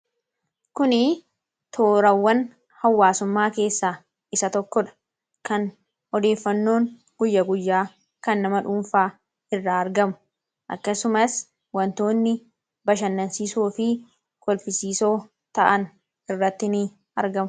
kuni toorawwan hawaasummaa keessaa isa tokko dha kan odeeffannoon guyyaguyyaa kan nama dhuunfaa irra argamu akkasumas wantoonni bashannansiisoo fi kolfisiisoo ta'an irratti ni argamu